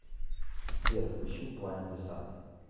сбер включи блайнд зэ сан